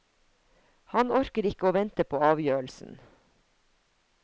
Han orker ikke å vente på avgjørelsen.